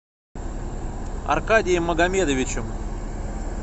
аркадием магомедовичем